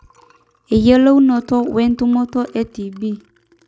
eyiolounoto wentumoto e tb